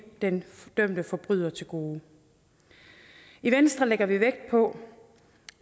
den dømte forbryder til gode i venstre lægger vi vægt på